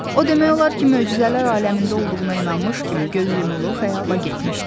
O demək olar ki, möcüzələr aləmində olduğuna inanmış kimi göz yumulu xəyala getmişdi.